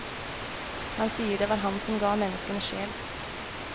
Han sier det var han som ga menneskene sjel.